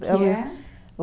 Que é?